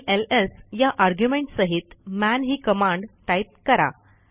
आणि एलएस या आर्ग्युमेंट सहित मन ही कमांड टाईप करा